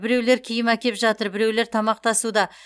біреулер киім әкеп жатыр біреулер тамақ тасуда